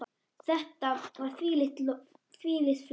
Þetta var þvílíkt flott.